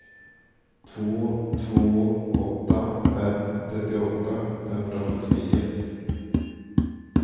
två två åtta fem trettioåtta femhundrasjuttionio